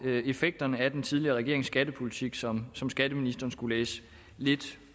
effekterne af den tidligere regerings skattepolitik som som skatteministeren skulle læse lidt